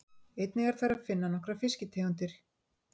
Einnig er þar að finna nokkrar fiskitegundir.